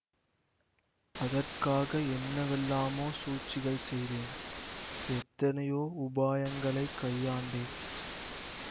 அதற்காக என்னவெல்லாமோ சூழ்ச்சிகள் செய்தேன் எத்தனையோ உபாயங்களைக் கையாண்டேன்